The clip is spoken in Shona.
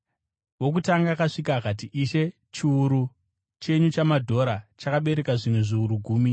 “Wokutanga akasvika akati, ‘Ishe chiuru chenyu chamadhora chakabereka zvimwe zviuru gumi.’